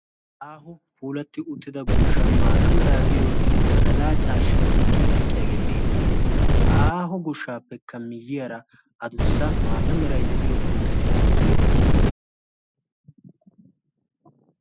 ha aaho puulatti uttida goshshan maata meraaddiyo badalaa carshshai delqqi delqqiyaagee beettiis. ha aaho goshshaappekka miyyiyaara a dussa maata merai de7iyo puuteti de7oosona.